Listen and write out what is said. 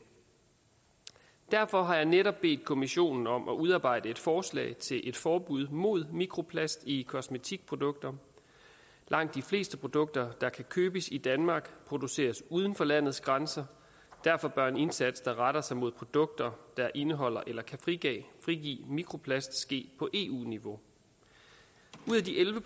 derfor har jeg netop bedt kommissionen om at udarbejde et forslag til et forbud mod mikroplast i kosmetikprodukter langt de fleste produkter der kan købes i danmark produceres uden for landets grænser og derfor bør en indsats der retter sig mod produkter der indeholder eller kan frigive frigive mikroplast ske på eu niveau ud af de elleve